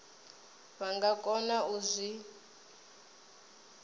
vha nga kona u zwi